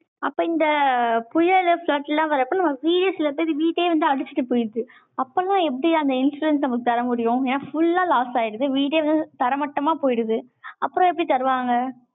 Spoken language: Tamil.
அப்ப இந்த புயலு, flood லாம் வரப்ப, நம்ம serious சில பேர் வீட்டையே வந்து அடிச்சிட்டு போயிடுது. அப்ப எல்லாம் எப்படி அந்த insurance நமக்கு தர முடியும்? ஏன்னா, full ஆ loss ஆயிடுது. video வே தரைமட்டமா போயிடுது. அப்புறம் எப்படி தருவாங்க